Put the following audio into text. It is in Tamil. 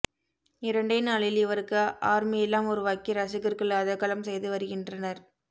இரண்டே நாளில் இவருக்கு ஆர்மியெல்லாம் உருவாக்கி ரசிகர்கள் அதகளம் செய்து வருகின்றனர்